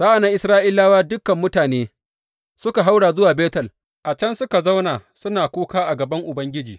Sa’an nan Isra’ilawa, dukan mutane, suka haura zuwa Betel, a can suka zauna suna kuka a gaban Ubangiji.